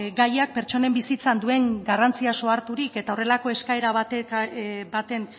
gaiak pertsonen bizitzan duen garrantziaz oharturik eta horrelako eskaera baten